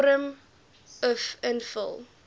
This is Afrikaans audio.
vorm uf invul